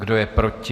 Kdo je proti?